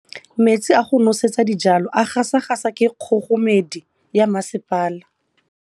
Metsi a go nosetsa dijalo a gasa gasa ke kgogomedi ya masepala.